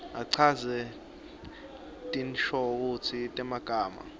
achaze tinshokutsi temagama